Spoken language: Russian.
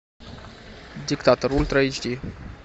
диктатор ультра эйч ди